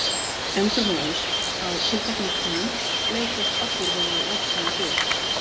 Endrum og eins, á tilteknum tímum, leitast allir við að vegsama Guð.